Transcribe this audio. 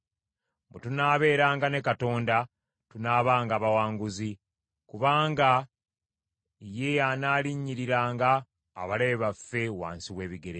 Bwe tunaabeeranga ne Katonda, tunaabanga bawanguzi, kubanga ye y’anaalinnyiriranga abalabe baffe wansi w’ebigere bye.